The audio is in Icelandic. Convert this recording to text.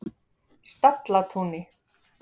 Stallatúni